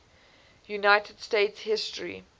united states history